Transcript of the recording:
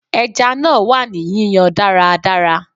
Ẹja náà wà ní yíyan dáradára.